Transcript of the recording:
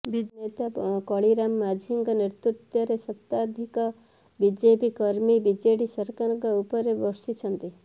BJP ନେତା କାଳିରାମ ମାଝୀଙ୍କ ନେତୃତ୍ୱରେ ଶତାଧିକ ବିଜେପି କର୍ମୀ ବିଜେଡି ସରକାର ଉପରେ ବର୍ଷିଛନ୍ତି